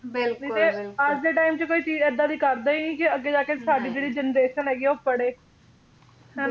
ਨਹੀਂ ਅੱਜ ਦੇ time ਚ ਕੋਈ ਚੀਜ ਇਹਦਾ ਦੀ ਕਰਦਾ ਹੀ ਨਹੀਂ ਕੇ ਅੱਗੇ ਜਾਕੇ ਸਾਡੀ ਜਿਹੜੀ generation ਹੈਗੀ ਆ ਉਹ ਪੜ੍ਹੇ ਹਨਾਂ